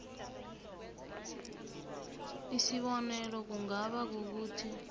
isibonelo kungaba kukuthi